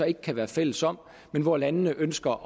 ikke kan være fælles om hvor landene ønsker